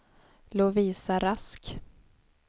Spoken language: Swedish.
Lovisa Rask